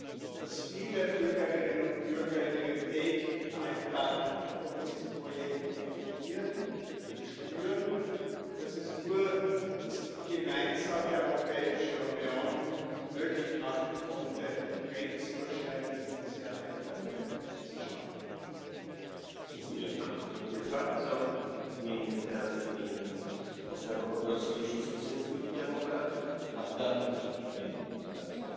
że przyszłe zmiany mogą bardziej ograniczyć biurokrację, która szkodzi biznesowi. Cieszę się, że w tej sprawie możemy działać ponad podziałami politycznymi to rzecz ważna. W dzisiejszym społeczeństwie, w którym dostęp do internetu jest coraz powszechniejszy, a aplikacje i narzędzia cyfrowe umożliwiają realizację coraz większej liczby zadań w trybie online, właściwie jest, żeby nasze kraje szły z duchem